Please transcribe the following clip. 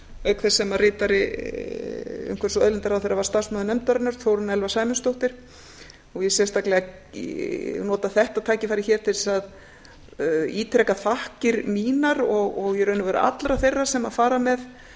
auk þess sem ritari umhverfis og auðlindaráðherra var starfsmaður nefndarinnar þórunn elfa sæmundsdóttir ég vil sérstaklega nota þetta tækifæri hér til þess að ítreka þakkir mínar og í raun og veru allra þeirra sem fara með